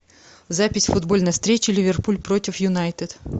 запись футбольной встречи ливерпуль против юнайтед